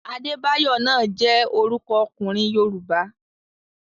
Adébáyọ̀ náà jẹ́ orúkọ ọkùnrin Yorùbá.